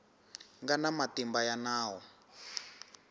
nga na matimba ya nawu